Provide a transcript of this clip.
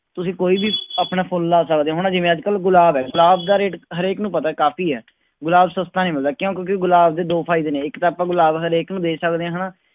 ਤੁਸੀਂ ਕੋਈ ਵੀ ਆਪਣਾ ਫੁੱਲ ਲਾ ਸਕਦੇ ਹੋ ਹਨਾ ਜਿਵੇਂ ਅੱਜ ਕੱਲ੍ਹ ਗੁਲਾਬ ਹੈ ਗੁਲਾਬ ਦਾ rate ਹਰੇਕ ਨੂੰ ਪਤਾ ਹੈ ਕਾਫ਼ੀ ਹੈ, ਗੁਲਾਬ ਸਸਤਾ ਨੀ ਮਿਲਦਾ ਕਿਉਂ ਕਿਉਂਕਿ ਗੁਲਾਬ ਦੇ ਦੋ ਫ਼ਾਇਦੇ ਨੇ ਇੱਕ ਤਾਂ ਆਪਾਂ ਗੁਲਾਬ ਹਰੇਕ ਨੂੰ ਦੇ ਸਕਦੇ ਹਾਂ ਹਨਾ,